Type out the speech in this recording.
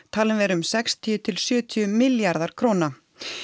talinn vera um sextíu til sjötíu milljarðar króna